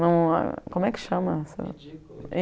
Como é que chama?